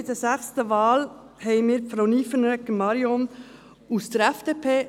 Bei der sechsten Wahl haben wir Frau Marion Nyffenegger aus der FDP;